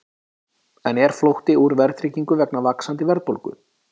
En er flótti úr verðtryggingu vegna vaxandi verðbólgu?